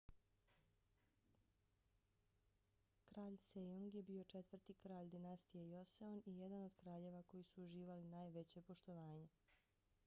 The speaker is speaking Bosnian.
kralj sejong je bio četvrti kralj dinastije joseon i jedan od kraljeva koji su uživali najveće poštovanje